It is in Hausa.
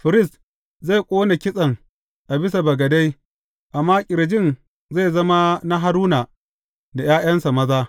Firist zai ƙone kitsen a bisa bagade, amma ƙirjin zai zama na Haruna da ’ya’yansa maza.